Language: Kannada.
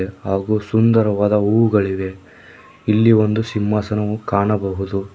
ಹಾಗು ಸುಂದರವಾದ ಹೂವುಗಳಿವೆ ಇಲ್ಲಿ ಒಂದು ಸಿಂಹಾಸನವು ಕಾಣಬಹುದು.